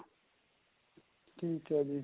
ਠੀਕ ਏ ਜੀ